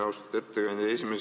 Austatud ettekandja!